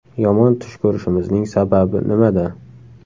Yomon tush ko‘rishimizning sababi nimada?.